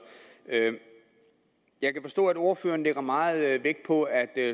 jeg kan forstå at ordføreren lægger meget vægt på at